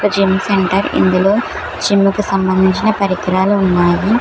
Gym centre ఇందులో gym కు సంబంధించిన పరికరాలు ఉన్నాయి.